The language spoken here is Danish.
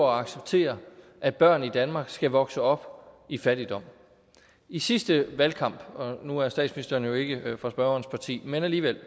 acceptere at børn i danmark skal vokse op i fattigdom i sidste valgkamp nu er statsministeren jo ikke fra spørgerens parti men alligevel